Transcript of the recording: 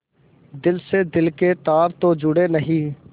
दिल से दिल के तार तो जुड़े नहीं